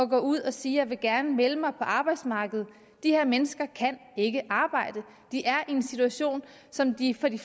gå ud og sige jeg vil gerne melde mig på arbejdsmarkedet de her mennesker kan ikke arbejde de er i en situation som de for de